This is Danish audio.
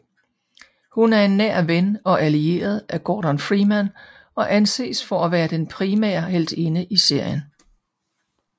Hun er en nær ven og allieret af Gordon Freeman og anses for at være den primære heltinde i serien